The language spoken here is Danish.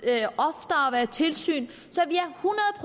der være tilsyn